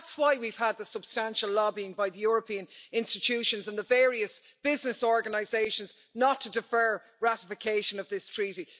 That's why we've had the substantial lobbying by the European institutions and the various business organisations not to defer ratification of this Treaty.